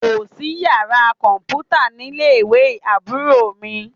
Kò sí yàrá kọ̀m̀pútá nílé ìwé Àbúrò mi